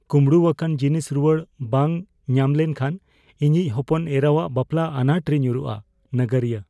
ᱠᱚᱢᱲᱩ ᱟᱠᱟᱱ ᱡᱤᱱᱤᱥ ᱨᱩᱣᱟᱹᱲ ᱵᱟᱝ ᱧᱟᱢ ᱞᱮᱱ ᱠᱷᱟᱱ ᱤᱧᱤᱡ ᱦᱚᱯᱚᱱ ᱮᱨᱟᱣᱟᱜ ᱵᱟᱯᱞᱟ ᱟᱱᱟᱴ ᱨᱮ ᱧᱩᱨᱩᱜᱼᱟ ᱾ (ᱱᱟᱜᱟᱨᱤᱭᱟᱹ)